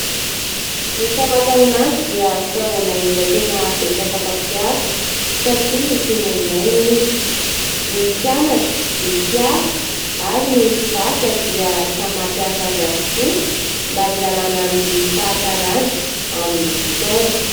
Ny famantaranandro dia fitaovana iray tena betsaka mpapiasa satria tena ilaina izy. Ny mpianatra, ny mpiasa ary ny mpivarotra dia samy mampiasa azy avokoa mba hialana amin'ny fahatarana amin'ny fotoana.